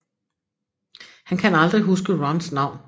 Han kan aldrig huske Rons navn